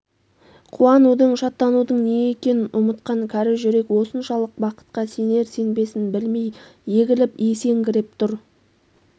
қуанудың шаттанудың не екенін ұмытқан кәрі жүрек осыншалық бақытқа сенер-сенбесн білмей егіліп есеңгіреп тұр